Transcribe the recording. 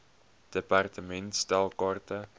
department stel kaarte